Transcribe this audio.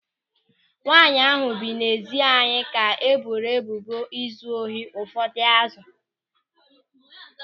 Nwaanyị ahụ bi n'ezi anyị ka e boro ebubo izu ohi ụfọdụ azụ